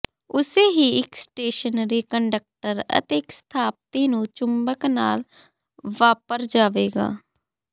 ਉਸੇ ਹੀ ਇੱਕ ਸਟੇਸ਼ਨਰੀ ਕੰਡਕਟਰ ਅਤੇ ਇੱਕ ਸਥਾਪਤੀ ਨੂੰ ਚੁੰਬਕ ਨਾਲ ਵਾਪਰ ਜਾਵੇਗਾ